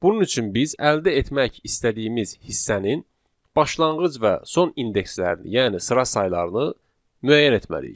Bunun üçün biz əldə etmək istədiyimiz hissənin başlanğıc və son indekslərini, yəni sıra saylarını müəyyən etməliyik.